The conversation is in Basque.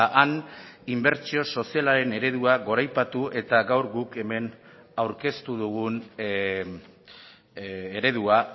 han inbertsio sozialaren eredua goraipatu eta gaur guk hemen aurkeztu dugun eredua